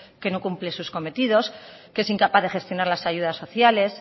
que no cumple sus cometidos que es incapaz de gestionar las ayudas sociales